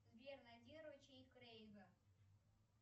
сбер найди ручей крейга